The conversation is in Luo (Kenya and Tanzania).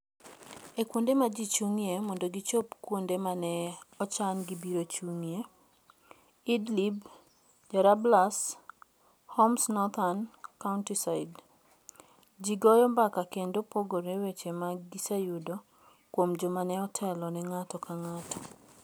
E kuonde ma ji chung'ie mondo gichop kuonde ma ne ochan ni gibiro chung'ie (Idlib, Jarablus, Homs northern countryside), ji goyo mbaka kendo pogore weche ma giseyudo kuom joma ne otelo ne ng'ato ka ng'ato.